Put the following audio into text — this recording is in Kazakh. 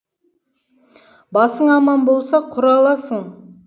басың аман болса құраласың